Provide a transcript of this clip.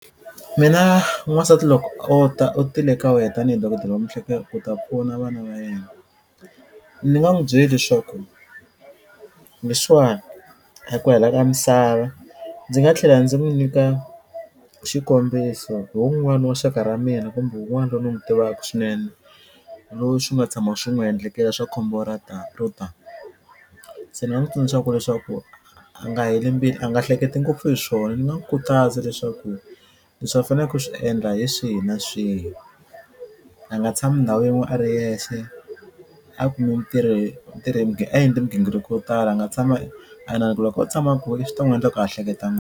Mina n'wansati loko o ta u tile ka wena tanihi dokodela wa mihleketo ku ta pfuna vana va yena ni nga n'wu byela leswaku leswiwani a hi ku hela ka misava ndzi nga tlhela ndzi n'wu nyika xikombiso hi wun'wani wa xaka ra mina kumbe wun'wani loyi ni n'wu tivaku swinene loyi swi nga tshama swi n'wi endlekela swa khombo ra ta ro ta se ni nga n'wu tsundzuxa ku leswaku a nga heli mbilu a nga hleketi ngopfu hi swona ni nga n'wu khutaza leswaku leswi a faneleke ku swi endla hi swihi na swihi a nga tshami ndhawu yin'we a ri yexe a kumi ntirho ntirho hi a endli mighingiriko yo tala a nga tshami loko o tshama a swi ta n'wu endla ku a hleketa .